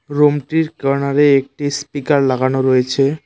রুমটির কর্নারে একটি স্পিকার লাগানো রয়েছে।